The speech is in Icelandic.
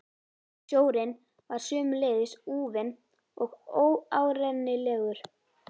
Sjórinn var sömuleiðis úfinn og óárennilegur.